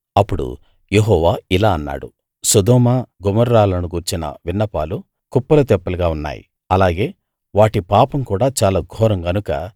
అప్పుడు యెహోవా ఇలా అన్నాడు సొదొమ గొమొర్రాలను గూర్చిన విన్నపాలు కుప్పలు తెప్పలుగా ఉన్నాయి అలాగే వాటి పాపం కూడా చాలా ఘోరం కనుక